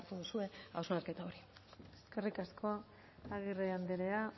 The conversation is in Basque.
duzue hausnarketa hori eskerrik asko agirre andrea